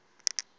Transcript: oluka ka njl